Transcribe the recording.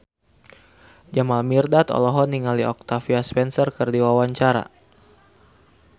Jamal Mirdad olohok ningali Octavia Spencer keur diwawancara